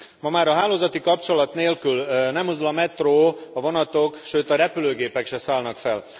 Ma már a hálózati kapcsolat nélkül nem mozdul a metró, a vonatok, sőt a repülőgépek sem szállnak fel.